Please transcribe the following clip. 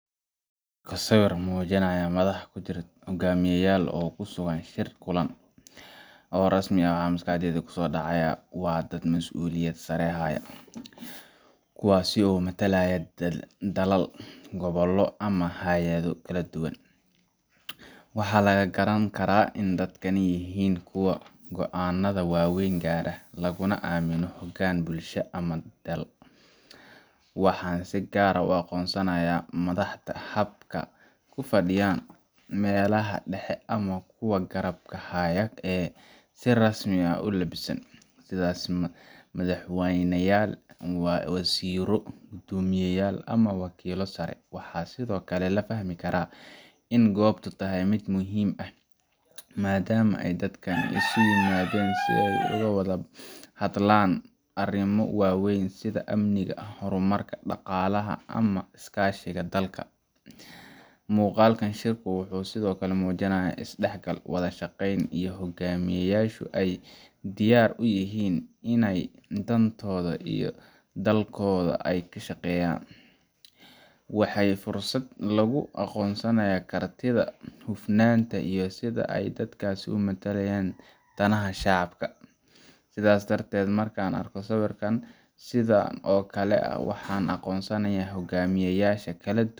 Wa sawir mujinaya madax kujirtoh hogamiyan oo kusugan shiir kulan, oo rasmi masqaxdeyda kusodacaya wa dad masuliyat sare hayo kuwasi oo mathalaya dlala gobolo amah hayada kaladuwan, waxlaga karankarah ini dadkan yahin kuwoo goanatha waweeyn gaarak lakana aminoh hogaan bulsho amah dal, waxan si kaar aah u aqoonsanaya madax habka kufadithoh meelaha dexii amah kuwa karabka haaya ee SI rasmi aah u labisan, sethasi madaxweynayal wazziro kudomiyayal amah kodomi saari, waxasithokali lafahmi karah ini kobto tahay mid muhim aah madama dadk iskuguyimadeen si ay uguwalahadlan ariima waweeyn sitha aminka hormarka daqalaha amah iskashika dalka, muqalkan shiirku waxy sethokali mujinaya isdaxgal wathashaqeeyn iyo hoogamin hogamiyasho ay diyar u yahin Ina dantotha iyo dalkotha kashqeeynayan , waxa Fursat lagu aqoonsankaroh kartitha hoofnanta iyo setha ay dadkasi u mathalayan danaha shacabka setha darteed markan arkoh sawerkan sethan oo Kali waxan aqoonsanaya hoogamiyaysha kaladuwan.